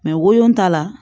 wolon ta la